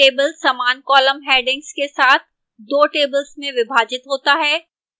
table समान column headings के साथ 2 tables में विभाजित होता है